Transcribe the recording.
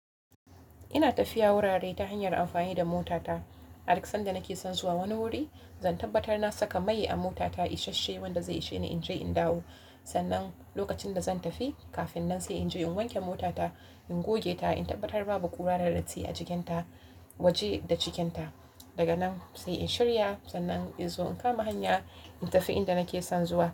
Ina tafiya wurare ta hanyar amfani da motata. Aduk sanda nake son zuwa wani wuri, zan tabbatar na saka mai a motata, ishashshe wanda zai isheni inje in dawo. Sannan lokacin da zan tafi, kafin nan sai inje in wanke motata, in goge ta, in tabbatar babu ƙura da datti a cikinta, waje da cikinta. Daga nan sai in shirya, sannan in zo in kama hanya in tafi inda nake son zuwa.